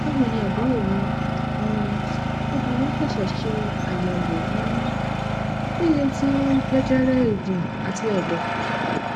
bawoni aburo mi um obinrin sese se ayewo um lile ti jejere eegun ati edo